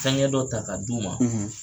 Fɛŋɛ dɔ ta k'a d'u ma